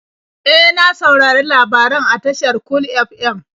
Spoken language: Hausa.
E, na saurari labaran a tashar Cool FM.